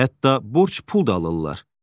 Hətta borc pul da alırlar.